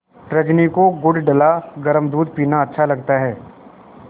रजनी को गुड़ डला गरम दूध पीना अच्छा लगता है